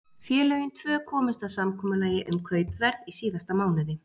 Félögin tvö komust að samkomulagi um kaupverð í síðasta mánuði.